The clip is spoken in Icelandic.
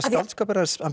skáldskapur hans